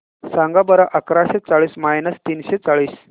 सांगा बरं अकराशे चाळीस मायनस तीनशे चाळीस